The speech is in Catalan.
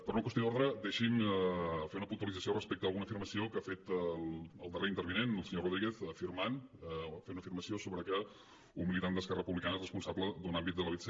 per una qüestió d’ordre deixi’m fer una puntualització respecte a alguna afirmació que ha fet el darrer intervinent el senyor rodríguez afirmant fent una afirmació sobre que un militant d’esquerra republicana és responsable d’un àmbit de la vtc